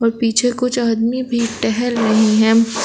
और पीछे कुछ आदमी भी टहल रहे है।